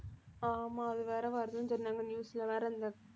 ஆமா அது வேற வருதுன்னு சொன்னாங்க news ல வேற இந்த